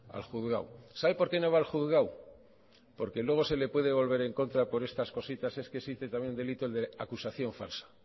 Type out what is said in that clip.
al juzgado sabe porque no va al juzgado porque luego se le puede volver en contra por estas cositas es que existe también el delito el de acusación falsa